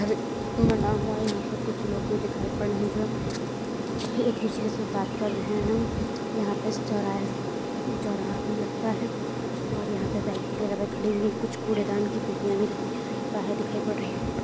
हरे बना हुआ है यहा पे कुछ लोग भी दिखाई पड़ रहे है जो एक दूसरे से बात कर रहे हैं यहां पे चौराहा चौराहा भी लगता है और यहाँ पे में खड़ी हुई कूड़ेदान की पेटियां भी रखी हुई बाहर दिखाई पड़ रही --